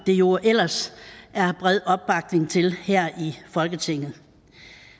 der jo ellers er bred opbakning til her i folketinget